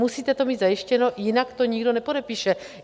Musíte to mít zajištěno, jinak to nikdo nepodepíše.